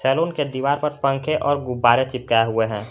Salon के दीवार पर पंखे और गुब्बारे चिपकाए हुए है।